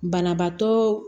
Banabaatɔ